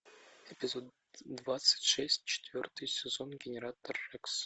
эпизод двадцать шесть четвертый сезон генератор рекс